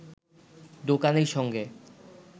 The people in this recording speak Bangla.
দোকানির সঙ্গে